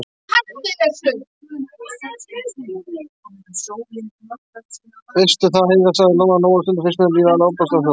Veistu það, Heiða, sagði Lóa-Lóa, stundum finnst mér lífið alveg ofboðslega sorglegt.